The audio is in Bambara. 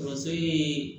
So ye